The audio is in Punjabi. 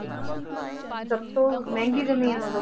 ਸਭ ਤੋਂ ਮਹਿੰਗੀ ਜ਼ਮੀਨ ਉਦੋਂ